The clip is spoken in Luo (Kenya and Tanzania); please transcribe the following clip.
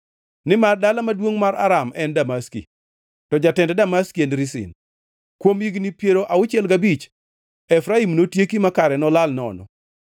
nimar dala maduongʼ mar Aram en Damaski, to jatend Damaski en Rezin. Kuom higni piero auchiel gabich Efraim notieki ma kare nolal nono.